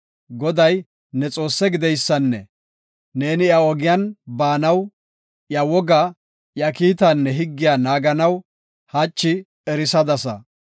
Goday, new Xoosse gideysanne neeni iya ogiyan baanaw, iya wogaa, iya kiitaanne higgiya naaganaysa hachi erisadasa.